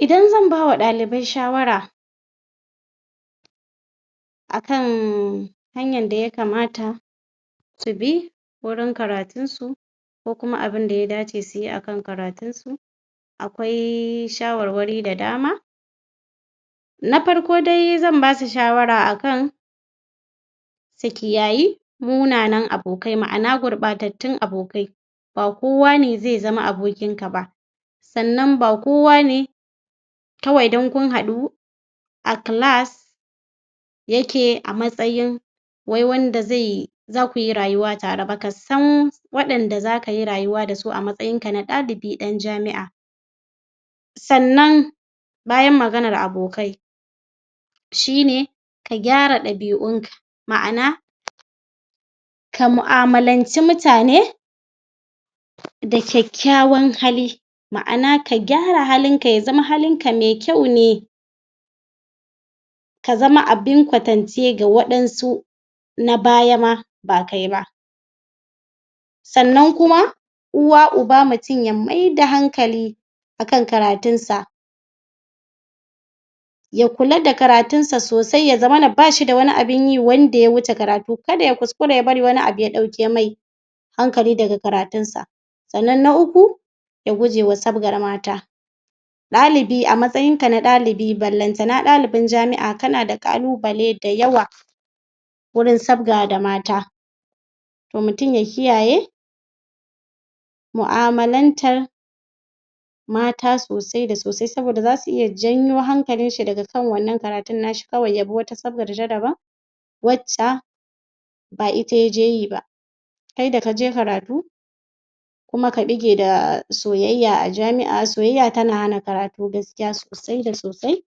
Idan zan ba wa ɗalibai shawara a kan hanyar da ya kamata su bi wurin karatunsu ko kuma a kana baun da ya dace su yi a kan karatunsu a kwai shawarwari da dama na farko da zan ba su shawara a kan su kiyayi munanan abokai wato gurɓatattun abokai ba kowa ne zai zama abokinka ba sannan ba kowa ne kawai don kun haɗu a class ya ke a matsayin wai wanda zai za ku yi rayuwa tare ba, ka san waɗanda za ka yi rayuwa da su a matsayinka na ɗalibi ɗan jami'a sannan bayan maganar abokai. shi ne ka gyara ɗabi'unka ma'ana kamu'amalanci mutane da kyakkyawan hali. ma'an ka gyara halinka ya zam halinka mai kyau ne. ka zama abun kwatance ga waɗansu na baya ma ba sannan kuma uwa uba mutum ya maida hankali a kan kartunsa. ya kula da karatunsa sosai ya zamana ba shi da wani abin yi kar ya kuskura ya bari wani abu ya ɗauke mai hankali daga karatunsa. Sannan na uku ya guje wa sabgar mata ɗalibi a matsayinka na ɗalibi ballantana ɗalibin jami'a kana da ƙalubale mai yawa gurin sabga to mutum ya kiyaye mu'amalantar mata sosai da sosai saboda za su iya janyo hankalinshi daga kawai ya bi wata sabgar dabam wacce ba ita ya zo yi ba. Kai da ka je karatu kuma ka ɓuge da soyayya a jami'a soyayya tana hana karatu gaskiya sosai da sosai.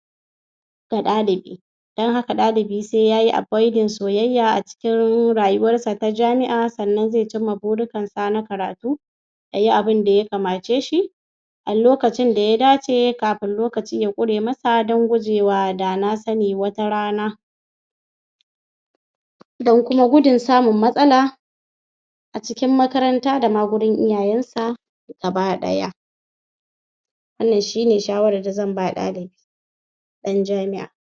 ga ɗalibi don haka ɗalibi sai ya yi avoiding soyayya don rayuwarsa ta jami'a sannan zai cika burikansa na karatu ya yi abun da ya kamace shi alokacin da ya dace kafin lokaci ya ƙure masa don gudun da na sani wata rana. don kuma gudun samun matsala a cikin makaranta da ma gurin iyayensa gaba ɗaya. wannan shi ne shawarar da zan ba ɗalibi ɗan jami'a.